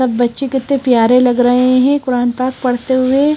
सब बच्चे कित्ते प्यारे लग रहे हैं कुरान पाक पढ़ते हुए।